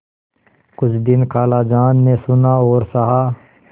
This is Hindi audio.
कुछ दिन खालाजान ने सुना और सहा